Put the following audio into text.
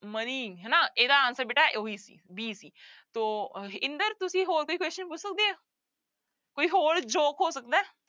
ਹਨਾ ਇਹਦਾ answer ਬੇਟਾ ਉਹੀ ਸੀ b ਸੀ ਸੋ ਇੰਦਰ ਤੁਸੀਂ ਹੋਰ ਕੋਈ question ਪੁੱਛ ਸਕਦੇ ਹੈ ਕੋਈ ਹੋਰ joke ਹੋ ਸਕਦਾ ਹੈ।